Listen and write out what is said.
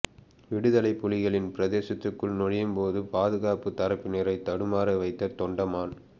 விடுதலைப்புலிகளின் பிரதேசத்துக்குள் நுழையும் போது பாதுகாப்பு தரப்பினரை தடுமாற வைத்த தொண்டமான்